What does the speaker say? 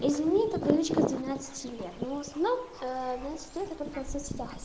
извини это привычка с двенадцати лет но в основном ээ в двенадцать лето я только в сот сетях ас